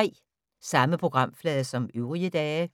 Samme programflade som øvrige dage